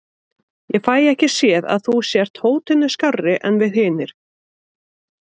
Ég fæ ekki séð að þú sért hótinu skárri en við hinir.